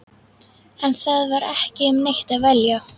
En það var ekki um neitt að velja.